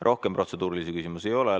Rohkem protseduurilisi küsimusi ei ole.